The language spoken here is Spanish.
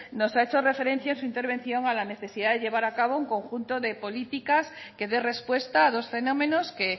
nos ha hecho referencia en su intervención a la necesidad de llevar a cabo un conjunto de políticas que dé respuesta a dos fenómenos que